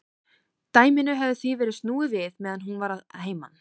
Dæminu hafði því verið snúið við meðan hún var að heiman.